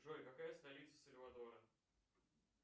джой какая столица сальвадора